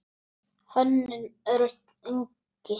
Hönnun: Örn Ingi.